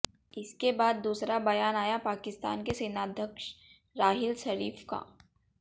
इसके बाद दूसरा बयान आया पाकिस्तान के सेनाध्यक्ष राहिल शरीफ का